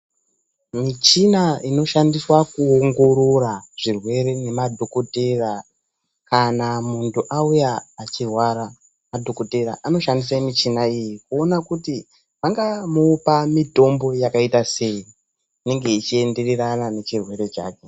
Michina inoshandiswa kuongorora zvirwere nemadhokodheya kana muntu auya achirwara. Madhokodhera anoshandise muchina iyi kuona kuti vangamupa mitombo yakayita sei, inenge ichiendererana nechirwere chake.